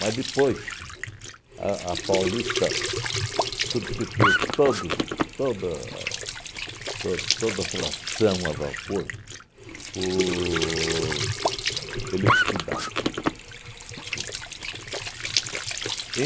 Mas depois a a Paulista substituiu todos toda to toda a tração a vapor por eletricidade, entende?